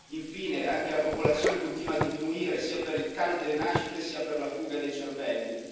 Infine, anche la popolazione continua a diminuire, sia per il calo delle nascite, sia per la fuga dei cervelli.